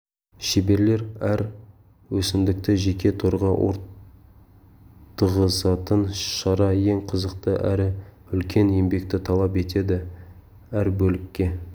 шеберлер әр өсімдікті жеке торға ортығызатын шара ең қызықты әрі үлкен еңбекті талап етеді әр бөлікке